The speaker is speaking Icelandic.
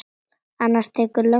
Annars tekur löggan hann.